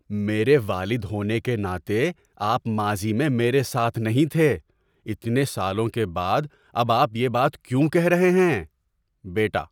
میرے والد ہونے کے ناطے، آپ ماضی میں میرے ساتھ نہیں تھے۔ اتنے سالوں کے بعد اب آپ یہ بات کیوں کہہ رہے ہیں؟ (بیٹا)